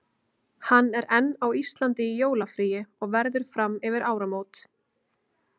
Hann er enn á Íslandi í jólafríi og verður fram yfir áramót.